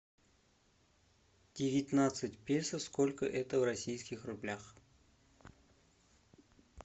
девятнадцать песо сколько это в российских рублях